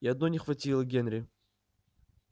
и одной не хватило генри